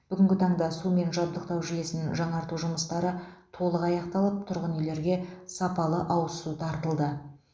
бүгінгі таңда сумен жабдықтау жүйесін жаңарту жұмыстары толық аяқталып тұрғын үйлерге сапалы ауызсу тартылды